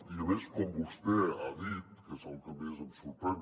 i a més com vostè ha dit que és el que més em sorprèn